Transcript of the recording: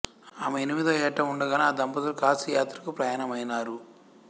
ఆమె ఎనిమిదవ యేట ఉండగానే ఆ దంపతులు కాశీ యాత్రకు ప్రయాణమైనారు